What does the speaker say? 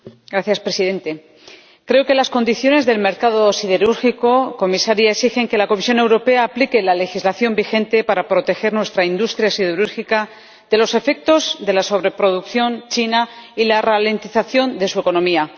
Señor Presidente, señora Comisaria, creo que las condiciones del mercado siderúrgico exigen que la Comisión Europea aplique la legislación vigente para proteger nuestra industria siderúrgica de los efectos de la sobreproducción china y la ralentización de su economía.